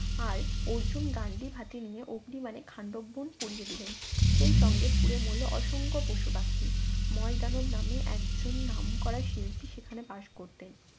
আর অর্জুন গান্ডীব হাতে নিয়ে অগ্নিবানে খান্ডব বন পুড়িয়ে দিলেন সেই সঙ্গে পুড়ে মরল অসংখ্য পশুপাখি ময়দানব নামে একজন নামকরা শিল্পী সেখানে বাস করতেন